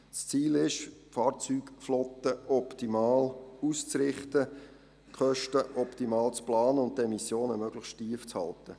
Das Ziel ist es, die Fahrzeugflotte optimal auszurichten, die Kosten optimal zu planen und die Emissionen möglichst tief zu halten.